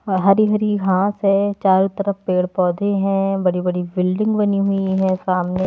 हहरी-हरी घास है चारों तरफ पेड़-पौधे हैं बड़ी-बड़ी बिल्डिंग बनी हुई है सामने --